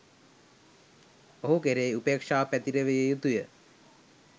ඔහු කෙරෙහි උපේක්ෂාව පැතිරවිය යුතු ය.